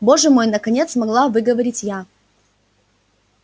боже мой наконец смогла выговорить я